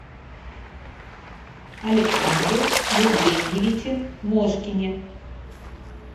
александре евгеньевиче мошкине